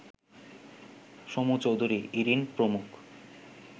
সমু চৌধুরী, ইরিন প্রমুখ